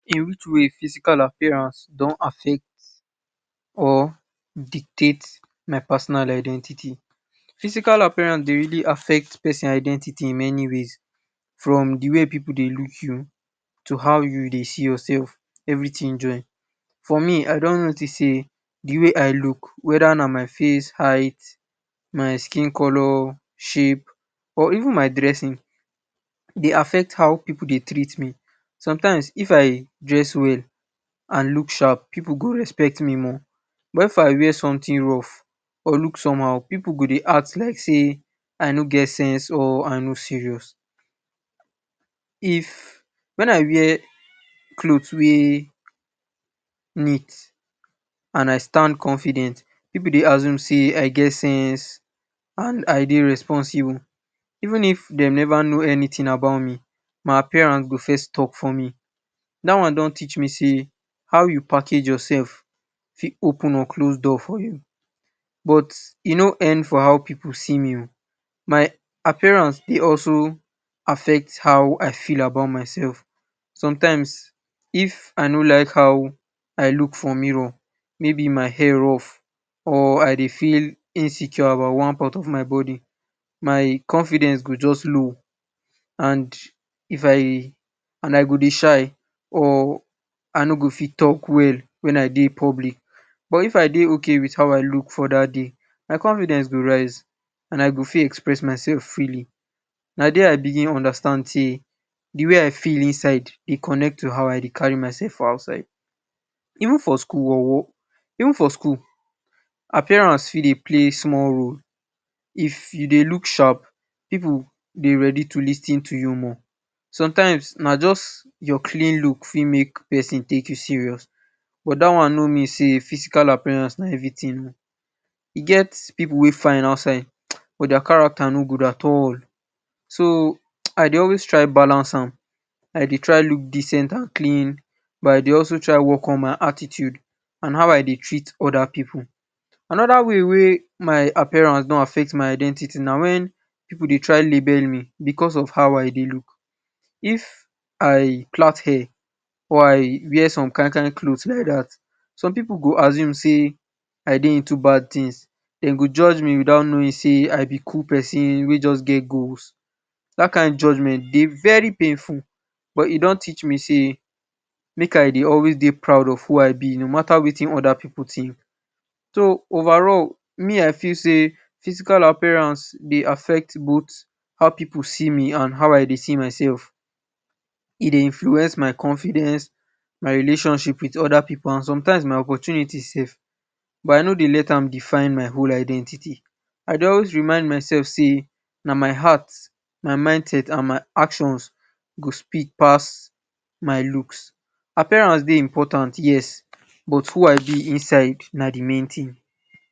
In which way physical appearance don affect or dictate my person identity. Physical appearance Dey really affect person identity in many ways from de way pipu Dey look you to how you Dey see yourself everything join for me I don notice sey de way I look weather na my face eyes my skin color shape or even my dressing Dey affect how pipu Dey treat me sometimes if i dress well and look sharp pipu go respect me more but if I wear something rough or look somehow pipu go Dey act like sey I no get sense or I no serious if when I wear cloth wey neat and I stand confidence pipu Dey assume sey I get sense and I Dey responsible even if dem never know anything about me my appearance go first talk for me dat one don teach me sey how you package yourself fit open or close door for you but e no end for how pipu c me oo my appearance Dey also affect how I feel about my self sometimes if I no like how I look for mirror maybe my hair rough or I Dey feel insecure about one part of my body confidence go just low and I go Dey shy or I no go Dey talk well when I Dey public but if I Dey okay with how I look for dat day my confidence go rise and I go fit express myself freely na dia I even understand sey de way I feel inside Dey connect to how I Dey carry myself for outside even for school even for school appearance fit Dey play small role if you Dey look sharp pipu go Dey ready to lis ten to you more sometimes na just your clean look fit make person take you serious but dat one no mean sey physical na everything oo e get pipu wey give outside but dia character no good at all so I Dey always try take balance am I Dey try look decent and clean but I Dey also try work on my attitude and how I Dey treat today pipu anoda way wey my appearance don affect my identity na wen pipu Dey try label me because of how I Dey if I plait hear or wear some kin kin cloth like dat some pipu go assume sey I Dey into bad things dem go judge me with out knowing sey I b good person wey just get goals dat kin judgement Dey very painful but e don teach me say make I Dey always Dey proud of who I Dey no matta wetin oda pipu think so overall me I feel sey physical appearance Dey affect both how pipu see me and how I Dey feel myself e Dey influence my confidence my relationship with oda pipu and sometimes my opportunities but I no Dey let am define my whole identity I just remind myself sey na my heart my mind set and my action go speak pass my looks appearance Dey important yes but sho I be inside na de main thing